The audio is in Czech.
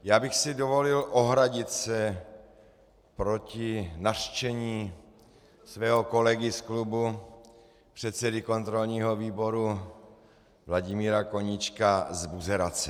Já bych si dovolil ohradit se proti nařčení svého kolegy z klubu předsedy kontrolního výboru Vladimíra Koníčka z buzerace.